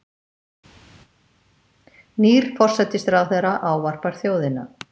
Nýr forsætisráðherra ávarpar þjóðina